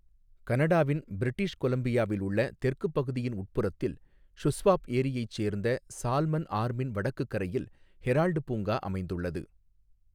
கனடாவின் பிரிட்டிஷ் கொலம்பியாவில் உள்ள தெற்குப் பகுதியின் உட்புறத்தில், ஷுஸ்வாப் ஏரியைச் சேர்ந்த சால்மன் ஆர்மின் வடக்குக் கரையில் ஹெரால்டு பூங்கா அமைந்துள்ளது.